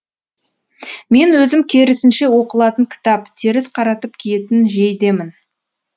мен өзім керісінше оқылатын кітап теріс қаратып киетін жейдемін